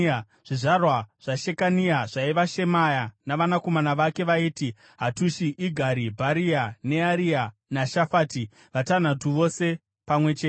Zvizvarwa zvaShekania zvaiva: Shemaya navanakomana vake vaiti: Hatushi, Igari, Bharia, Nearia naShafati, vatanhatu vose pamwe chete.